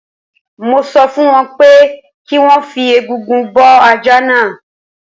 Mo sọ fún wọn pé kí wọ́n fi egungun bọ́ ajá náà